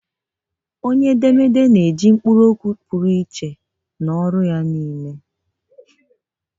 Onye edemede na-eji akwụkwọ ọkọwa okwu pụrụ iche n'ọrụ ya niile